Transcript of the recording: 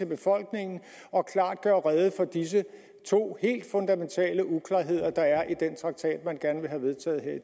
befolkningen og klart gør rede for disse to helt fundamentale uklarheder der er i den traktat man gerne vil vedtage her i